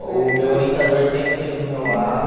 O meu orientador sempre esteve do meu lado.